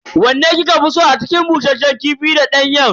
Wanne kika fi so a cikin bushasshen kifi da danyen?